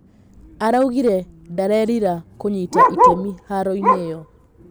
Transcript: Araugire 'ndarerira' kũnyita itemi haroinĩ ĩyo.